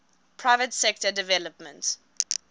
private sector development